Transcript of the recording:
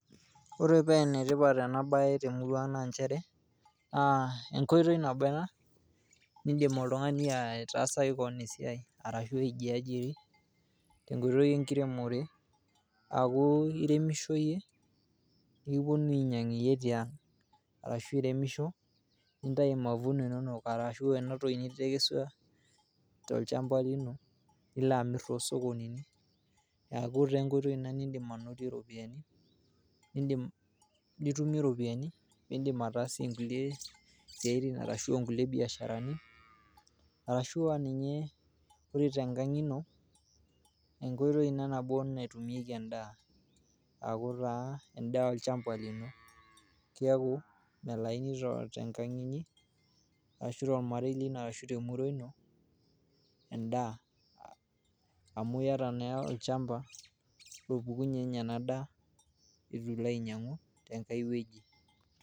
Ore paa enetipat ena baye temuruang naa inchere, enkoitoi nabo ana niindim ltungani atasaki keon esiaai arashu aijiajiri te nkoitoi enkiremore naaku iremisho iye nikiponii ainyang' iye teang' arashu iremisho nintayu mavuno inono arashu ena toki nitekeswa te olchamba lino nilo aamirr too sokonini aaku ta nkoitoi ina niindim anotie ropiyiani, nitumie iropiyiani niindim ataasie nkulee siaitin arashu nkule biasharatin arashu aaninye ore te nkang' ino enkoitoi ina nabo natumieki endaa, aaku taa endaa olchamba lino keaku melauni tenkang' inyi ashu te ormarei lino ashu te murrua ino endaa amu ieta naa olchamba opukununye ninye enaa daa etu ilo ainyang'u te nkae weji.